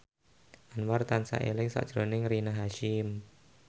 Anwar tansah eling sakjroning Rina Hasyim